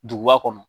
Duguba kɔnɔ